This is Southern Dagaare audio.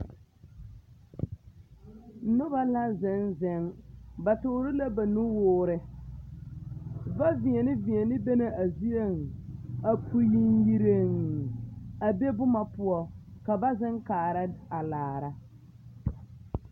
Noba la zeŋ zeŋ ba toore la ba nuure woore ba deɛne deɛne be la zieŋ a pu yeŋyereŋ a be boma ka ba zeŋ kaara.